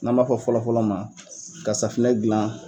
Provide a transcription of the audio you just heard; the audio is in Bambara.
N'an b'a fɔ fɔlɔfɔlɔ ma ka safunɛ gilan.